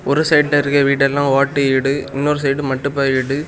ஒரு சைடுல இருக்க வீடுயெல்லாம் ஓட்டு வீடு இன்னொரு சைடு மட்டுப்பா வீடு.